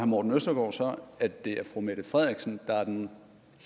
morten østergaard så at det er fru mette frederiksen der er den